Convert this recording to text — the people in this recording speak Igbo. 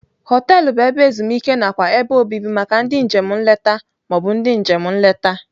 Họteelụ bụ ebe ezumike nakwa ebe obibi maka ndị njem nleta ma ọ bụ ndị njem nleta.